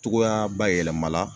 Cogoya bayɛlɛma la